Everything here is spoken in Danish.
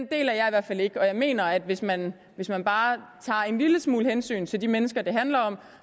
deler jeg i hvert fald ikke og jeg mener at hvis man hvis man bare tager en lille smule hensyn til de mennesker det handler om